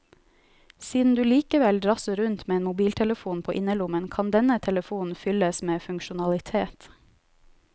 Siden du likevel drasser rundt med en mobiltelefon på innerlommen, kan denne telefonen fylles med funksjonalitet.